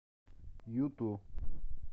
юту